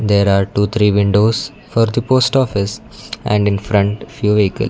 there are two three windows for the post office and in front few vehicle--